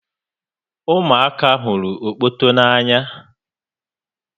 Ụmụ aka hụrụ okpoto n'anya